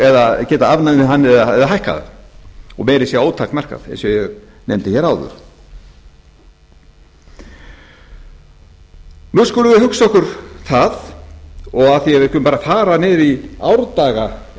eða geta afnumið hann eða hækkað hann og meira að segja ótakmarkað eins og ég nefndi hér áður nú skulum við hugsa okkur það og af því að við skulum bara fara niður í árdaga